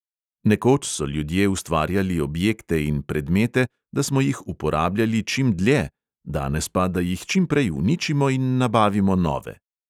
Nekoč so ljudje ustvarjali objekte in predmete, da smo jih uporabljali čim dlje, danes pa, da jih čim prej uničimo in nabavimo nove.